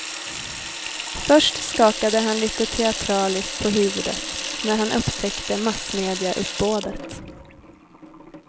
Först skakade han lite teatraliskt på huvudet, när han upptäckte massmediauppbådet.